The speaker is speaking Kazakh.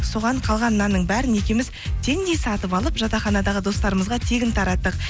соған қалған нанның бәрін екеуіміз теңдей сатып алып жатақханадағы достарымызға тегін тараттық